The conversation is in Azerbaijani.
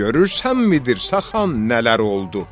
Görürsənmi Dirsə xan nələr oldu?